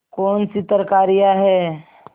कौनसी तरकारियॉँ हैं